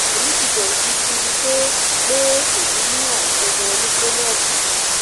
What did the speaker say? èmi ti bẹrù gidigidi pé pé èmi ní àrùn jejere ní kọlọnnù